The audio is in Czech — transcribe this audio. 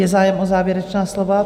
Je zájem o závěrečná slova?